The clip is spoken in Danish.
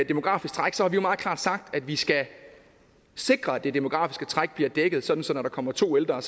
demografisk træk har vi meget klart sagt at vi skal sikre at det demografiske træk bliver dækket sådan at når der kommer to ældre har